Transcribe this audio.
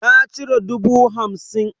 Na cire dubu hamsin.